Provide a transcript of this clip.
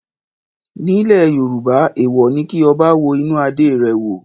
Nílẹ̀ Yorùbá èèwọ̀ ni kí ọba wo inú adé rẹ̀ wò.